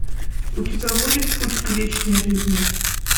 у тебя будет путь к вечной жизни